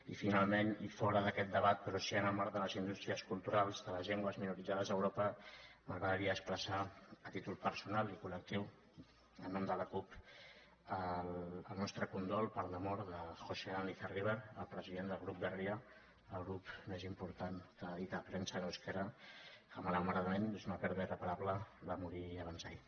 i finalment i fora d’aquest debat però sí en el marc de les indústries culturals de les llengües minoritàries a europa m’agradaria expressar a títol personal i collectiu en nom de la cup el nostre condol per la mort de joxean lizarribar el president del grup berria el grup més important que edita premsa en eusquera que malauradament és una pèrdua irreparable va morir abans d’ahir